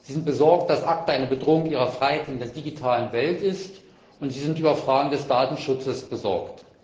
Sie sind besorgt, dass ACTA eine Bedrohung ihrer Freiheit in der digitalen Welt ist, und sie sind über Fragen des zentralen Datenschutzes besorgt.